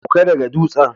Sauka daga dutsen